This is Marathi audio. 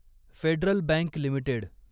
federal Bank limited